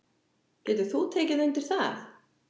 Getur þú tekið undir það?